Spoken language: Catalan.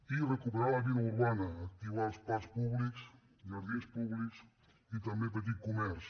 i recuperar la vida urbana activar els parcs públics jardins públics i també el petit comerç